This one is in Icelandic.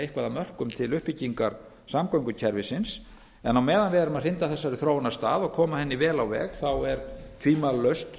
eitthvað af mörkum til uppbyggingar samgöngukerfisins en á meðan við erum að hrinda þessari þróun af stað og koma henni vel á veg er tvímælalaust